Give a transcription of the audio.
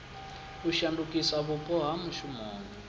u shandukisa vhupo ha mushumoni